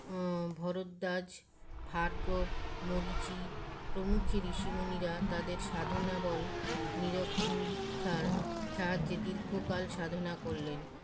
ম ভরদ্বাজ ভারগব মরিচী প্রমুখ ঋষিমুনিরা তাদের সাধনাবল নিরখ নিরিক্ষার সাহায্যে দীর্ঘকাল সাধনা করলেন